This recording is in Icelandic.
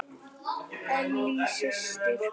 Ellý systir.